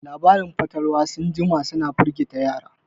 Labaran fatalwa sun jima suna firgita yara